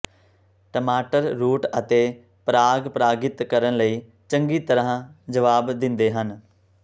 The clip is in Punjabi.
ਟਮਾਟਰ ਰੂਟ ਅਤੇ ਪਰਾਗ ਪਰਾਗਿਤ ਕਰਨ ਲਈ ਚੰਗੀ ਤਰ੍ਹਾਂ ਜਵਾਬ ਦਿੰਦੇ ਹਨ